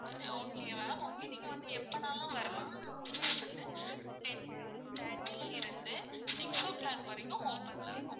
okay ma'am okay நீங்க வந்து எப்பனாலும் வரலாம் ஆனா office வந்து ten thirty ல இருந்து six o clock வரைக்கும் open ல இருக்கும்.